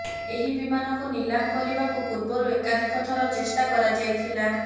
ଏହି ବିମାନକୁ ନିଲାମ କରିବାକୁ ପୂର୍ବରୁ ଏକାଧିକ ଥର ଚେଷ୍ଟା କରାଯାଇ ଥିଲା